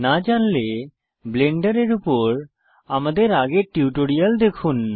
না জানলে ব্লেন্ডারের উপর আমাদের আগের টিউটোরিয়ালটি দেখুন